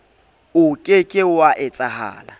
o ke ke wa etsahala